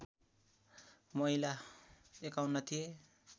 महिला ५१ थिए